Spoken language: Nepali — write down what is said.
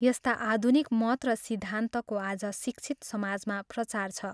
यस्ता आधुनिक मत र सिद्धान्तको आज शिक्षित समाजमा प्रचार छ।